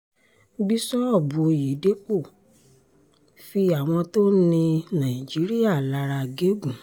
bíṣọ́ọ̀bù oyèdèpọ̀ fi àwọn tó ń ni nàìjíríà lára gégún